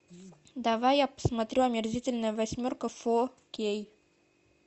давай я посмотрю омерзительная восьмерка фо кей